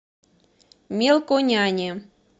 мелконяне